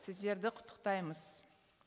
сіздерді құттықтаймыз